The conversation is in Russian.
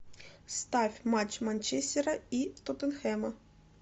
ставь матч манчестера и тоттенхэма